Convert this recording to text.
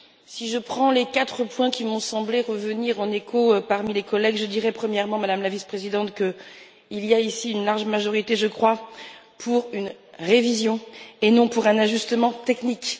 Si je prends les quatre points qui m'ont semblé revenir en écho parmi les collègues, je dirais, premièrement, Madame la Vice présidente, qu'il y a ici une large majorité en faveur d'une révision, et non d'un ajustement technique.